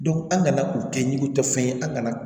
an kana k'u kɛ ni tɛ fɛn ye an kana